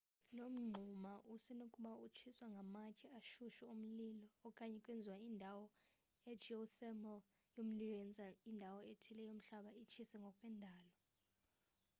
lo mngxuma usenokuba utshiswa ngamatye ashushu omlilo okanye kwezinye indawo i-geothermal yomlilo yenza indawo ethile yomhlaba itshise ngokwendalo